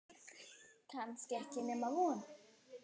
Kannski ekki nema von.